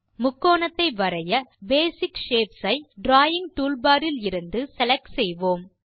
முக்கோணத்தை வரைய basic shapes ஐ டிராவிங் டூல்பார் இலிருது செலக்ட் செய்வோம்